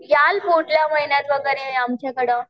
याल पुढल्या महिन्यात वगैरे आमच्याकडं?